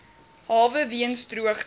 hawe weens droogte